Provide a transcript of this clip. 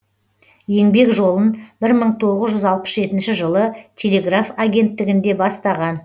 еңбек жолын бір мың тоғыз жүз алпыс жетінші жылы телеграф агенттігінде бастаған